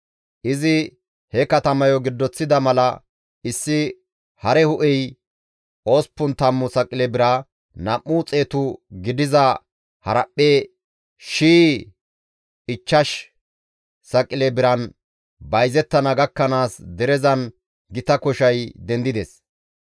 Izi he katamayo giddoththida mala issi hare hu7ey 80 saqile bira, nam7u xeetu gidiza haraphphe shiyay ichchash saqile biran bayzettana gakkanaas derezan gita koshay dendides.